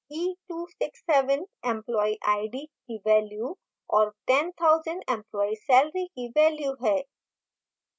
e267 employee id की value और 10000 employee salary की value है